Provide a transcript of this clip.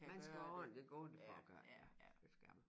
Man skal ordentlig gående for at gør det det skal man